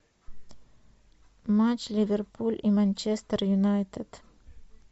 матч ливерпуль и манчестер юнайтед